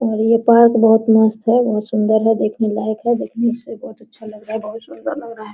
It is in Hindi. और ये पार्क बहुत मस्त है बहुत सुंदर है देखने लायक है देखने से बहुत अच्छा लग रहा है बहुत सुंदर लग रहा है।